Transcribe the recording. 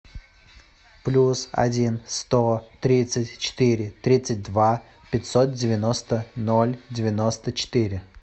плюс один сто тридцать четыре тридцать два пятьсот девяносто ноль девяносто четыре